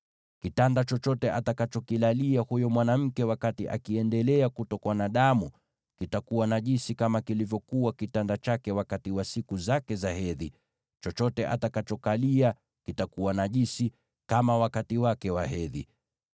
Kitanda chochote atakachokilalia huyo mwanamke wakati anaendelea kutokwa na damu kitakuwa najisi, kama kilivyokuwa kitanda chake wakati wa siku zake za hedhi, na chochote atakachokalia kitakuwa najisi, kama wakati wake wa hedhi.